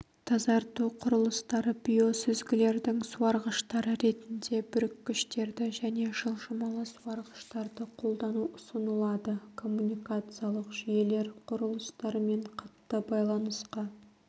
тазарту құрылыстары биосүзгілердің суарғыштары ретінде бүріккіштерді және жылжымалы суарғыштарды қолдану ұсынылады коммуникациялық жүйелер құрылыстармен қатты байланысқа